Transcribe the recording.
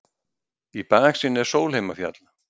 Í baksýn er Sólheimafjall.